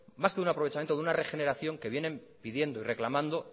más que de un aprovechamiento de una regeneración que vienen pidiendo y reclamando